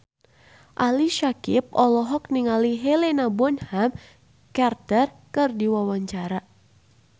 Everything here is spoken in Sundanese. Ali Syakieb olohok ningali Helena Bonham Carter keur diwawancara